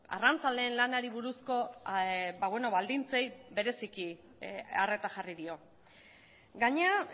arrantzaleen lanari buruzko baldintzei bereziki arreta jarri dio gainera